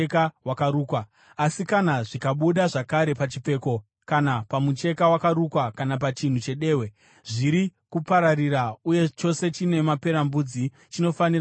Asi kana zvikabuda zvakare pachipfeko, kana pamucheka wakarukwa, kana pachinhu chedehwe, zviri kupararira uye chose chine maperembudzi chinofanira kupiswa nomoto.